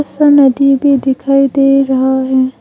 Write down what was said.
सा नदी भी दिखाई दे रहा है।